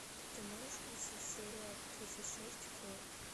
ты можешь включить серия тридцать шесть хор